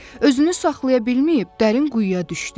özünü saxlaya bilməyib dərin quyuya düşdü.